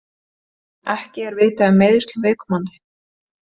Ekki er vitað um meiðsl viðkomandi